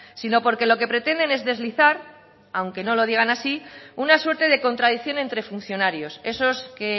sino porque lo que pretenden es deslizar aunque no lo digan así una suerte de contradicción entre funcionarios esos que